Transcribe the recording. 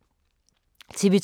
TV 2